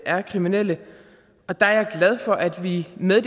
er kriminelle og der er jeg glad for at vi med